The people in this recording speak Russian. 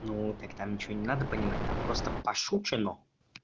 ну так там ничего не надо понимать там просто пошучено